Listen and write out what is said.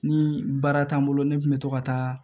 Ni baara t'an bolo ne kun bɛ to ka taa